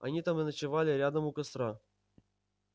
они там и ночевали рядом у костра